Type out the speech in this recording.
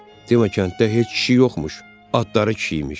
Deyəsən kənddə heç kişi yoxmuş, adları kişi imiş.